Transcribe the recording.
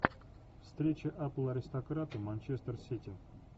встреча апл аристократы манчестер сити